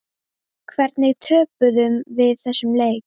Hvernig töpuðum við þessum leik?